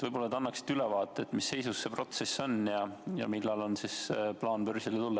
Võib-olla annaksite ülevaate, mis seisus see protsess on ja millal on plaan börsile tulla.